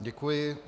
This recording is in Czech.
Děkuji.